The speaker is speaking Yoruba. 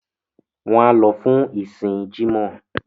wọ́n á lọ fún ìsìn “jímọ̀”.